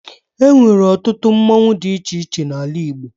E nwere ọtụtụ mmonwu dị iche iche n'ala Igbo